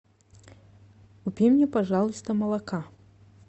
купи мне пожалуйста молока